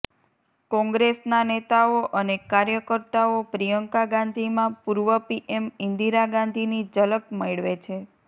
કોંગ્રેસના નેતાઓ અને કાર્યકર્તાઓ પ્રિયંકા ગાંધીમાં પૂર્વ પીએમ ઇન્દિરા ગાંધીની ઝલક મેળવે છે